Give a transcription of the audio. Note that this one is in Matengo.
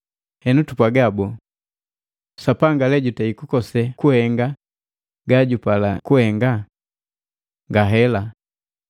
Henu tupwaga bole? Sapanga jukosi lee kuhenga gajupala kuhenga? Ngahela!